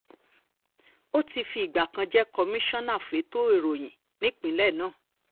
ó ti fìgbà kan jẹ́ kọmíṣánná fẹ̀tọ́ ìròyìn nípínlẹ̀ náà